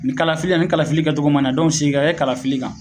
Ni kalafili ni kalifili kɛ cogo mana dɔnke segin ka kɛ kalafili kan